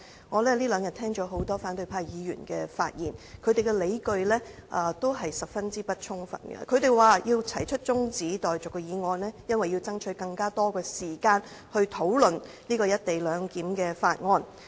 我在這兩天聆聽了很多反對派議員的發言，他們的理據均十分不充分，他們說提出中止待續議案是為了爭取更多時間討論《廣深港高鐵條例草案》。